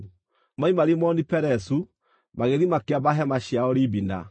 Moima Rimoni-Perezu magĩthiĩ makĩamba hema ciao Libina.